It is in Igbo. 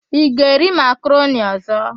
Ị ga-eri makaroni ọ̀zọ́?